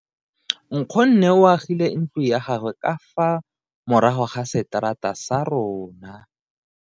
Nkgonne o agile ntlo ya gagwe ka fa morago ga seterata sa rona.